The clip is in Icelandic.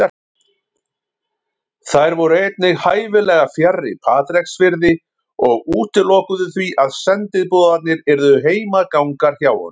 Þær voru einnig hæfilega fjarri Patreksfirði og útilokuðu því að sendiboðarnir yrðu heimagangar hjá honum.